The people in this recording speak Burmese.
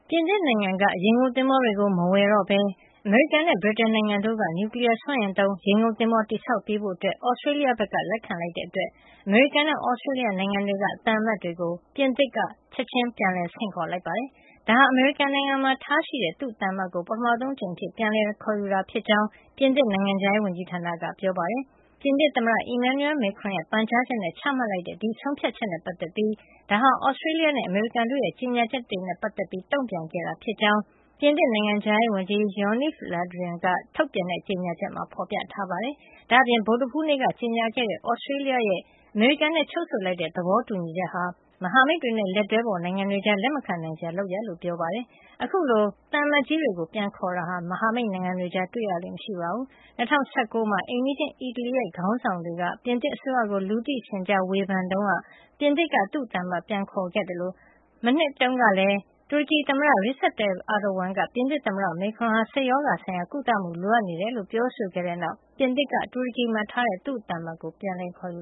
ပြင်သစ်နိုင်ငံက ရေငုပ်သင်္ဘောတွေကို မဝယ်တော့ပဲ အမေရိကန်နဲ့ ဗြိတိန်နိုင်ငံတို့က နျူကလီးယားစွမ်းအင်သုံး ရေငုပ်သင်္ဘော တည်ဆောက်ပေးဖို့ သြစတြေးလျနိုင်ငံက လက်ခံလိုက်တာကြောင့်၊ အမေရိကန်နဲ့ သြစတြေးလျနိုင်ငံတွေက သံအမတ်တွေကို ပြင်သစ်နိုင်ငံက ချက်ခြင်းပြန်လည် ဆင့်ခေါ်လိုက်ပါတယ်။ ဒါဟာ အမေရိကန်နိုင်ငံမှာ ထားရှိတဲ့ သူ့သံအမတ်ကို ပထမဆုံး အကြိမ်အဖြစ် ပြန်လည်ခေါ်ယူခဲ့တာ ဖြစ်ကြောင်း ပြင်သစ်နိုင်ငံခြားရေးဝန်ကြီးဌာနက ပြောပါတယ်။ ပြင်သစ်သမ္မတ Emmanuel Macron ရဲ့ ပန်ကြားချက်နဲ့ ချမှတ်လိုက်တဲ့ ဒီဆုံးဖြတ်ချက်နဲ့ ပတ်သက်ပြီး ဒါဟာ Australia နဲ့ အမေရိကန်တို့ရဲ့ ကြေညာချက်တွေနဲ့ ပတ်သက်ပြီး တုန့်ပြန်ခဲ့တာ ဖြစ်ကြောင်း ပြင်သစ်နိုင်ငံခြားရေးဝန်ကြီး Jean-Yves Le Drian ထုတ်ပြန်တဲ့ ကြေညာချက်မှာ ဖေါ်ပြထားပါတယ်။ ဒါ့အပြင် ဗုဒ္ဓဟူးနေ့က ကြေညာခဲ့တဲ့ Australia ရဲ့ အမေရိကန်နဲ့ ချုပ်ဆိုလိုက်တဲ့ သဘောတူညီချက် ဟာ မဟာမိတ်တွေနဲ့ လက်တွဲဖေါ်နိုင်ငံတွေကြား လက်မခံနိုင်စရာ လုပ်ရပ်ဖြစ်ကြောင်းလည်း ပြောပါတယ်။ အခုလို သံအမတ်ကြီးတွေကို ပြန်လည် ခေါ်ယူတာဟာ မဟာမိတ်နိုင်ငံတွေကြား တွေ့ရလေ့မရှိပါဘူး။ ၂၀၁၉ ခုနှစ်တုန်းက အိမ်နီးချင်း အီတလီနိုင်ငံရဲ ခေါင်းဆောင်တွေက ပြင်သစ်အစိုးရကို လူသိရှင်ကြာ ဝေဖန်မှုတွေ လုပ်ခဲ့တုန်းက ပြင်သစ်က သူ့သံအမတ်ကို ပြန်လည် ခေါ်ယူခဲ့တာပါ။ ပြီးခဲ့တဲ့ နှစ်တုန်းကလည်း တူရကီသမ္မတ Recep Tayyip Erdogan က ပြင်သစ်သမ္မတ Macron ဟာ စိတ်ရောဂါဆိုင်ရာ ကုသမှု လိုအပ်နေတယ်လို့ ပြောဆိုခဲ့တဲ့ နောက် ပြင်သစ်က တူရကီမှာထားတဲ့သူ့သံအမတ်ကို ပြန်လည် ခေါ်ယူ